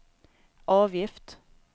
avgift